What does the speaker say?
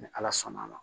Ni ala sɔnna a ma